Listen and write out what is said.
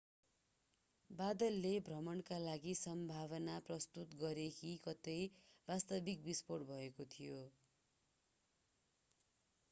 बादलले भ्रमका लागि सम्भावना प्रस्तुत गरे कि कतै वास्तविक बिस्फोट भएको थियो